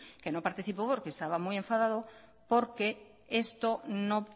que no participó porque estaba muy enfadado porque esto no